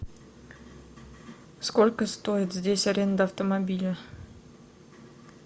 сколько стоит здесь аренда автомобиля